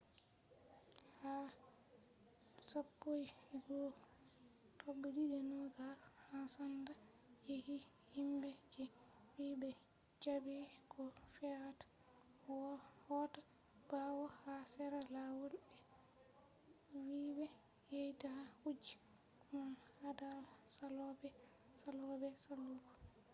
ha 11:20 en sanda yecci himbe je vi be jabai ko fe’ata hota bawo ha sera lawol be vi be yida kuje man hada salobe salobe saluugo